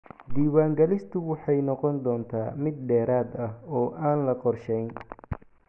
Diiwaangelintiisu waxay noqon doontaa mid dheeraad ah, oo aan la qorshayn.